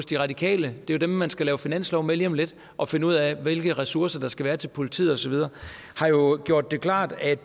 de radikale det er jo dem man skal lave finanslov med lige om lidt og finde ud af hvilke ressourcer der skal være til politiet og så videre har jo gjort det klart at